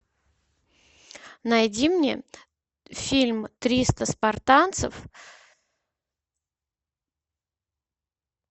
найди мне фильм триста спартанцев